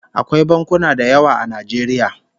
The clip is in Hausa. Akwai bankuna da yawa a Najeriya